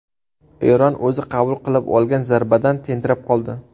Eron o‘zi qabul qilib olgan zarbadan tentirab qoldi.